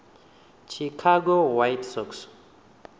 chicago white sox